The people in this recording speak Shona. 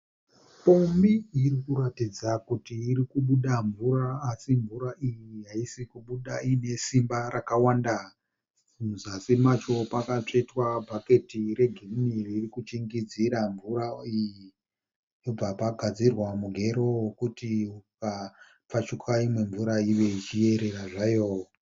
Pombi iri kuratidza kuti irikubuda mvura asi mvura iyi haisikubuda ine simba rakawanda muzasi macho pakatsvetswa bhaketi regirini ririkuchingidzira mvura iyi bvapagadzirwa mugero vekuti ikapfachuka mvura iyi igoverera hayo